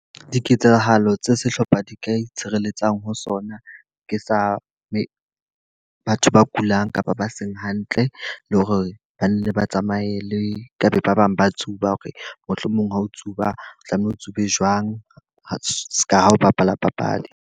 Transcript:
Diketsahalo tse sehlopha di ka itshireletsang ho sona, ke sa batho ba kulang kapa ba seng hantle. Le hore banne ba tsamaye le ka be ba bang ba tsuba, hore mohlomong ha o tsuba tlamehile o tsube jwang seka ha o bapala papadi.